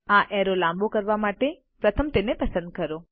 આ એરો લાંબો કરવા માટે પ્રથમ તેને પસંદ કરો